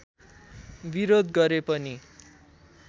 विरोध गरे पनि